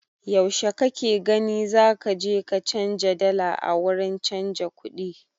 Yaushe kake gani zaka je ka canja dala a wurin canja kuɗi?